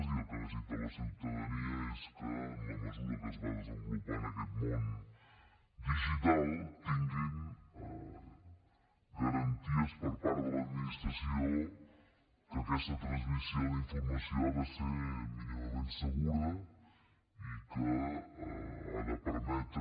i el que necessita la ciutadania és que en la mesura que es va desenvolupant aquest món digital tinguin garanties per part de l’administració que aquesta transmissió d’informació ha de ser mínimament segura i que ha de permetre